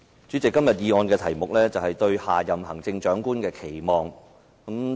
主席，今天議案的題目是"對下任行政長官的期望"。